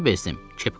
Axırda bezdim.